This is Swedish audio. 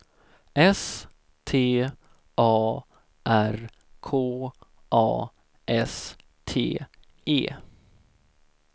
S T A R K A S T E